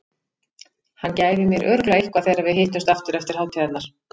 Hann gæfi mér örugglega eitthvað þegar við hittumst aftur eftir hátíðarnar.